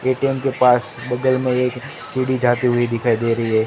ATM के पास बगल में एक सीढ़ी जाती हुई दिखाई दे रही है।